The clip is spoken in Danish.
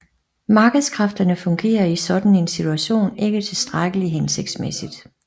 Markedskræfterne fungerer i sådan en situation ikke tilstrækkelig hensigtsmæssigt